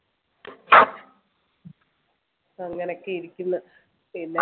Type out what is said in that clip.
അങ്ങനെയൊക്കെ ഇരിക്കുന്നു പിന്നെ